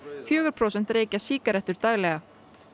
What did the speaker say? fjögur prósent reykja sígarettur daglega